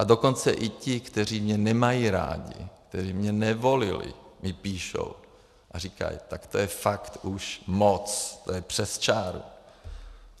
A dokonce i ti, kteří mě nemají rádi, kteří mě nevolili, mi píšou a říkají: tak to je fakt už moc, to je přes čáru.